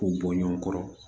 K'u bɔ ɲɔn kɔrɔ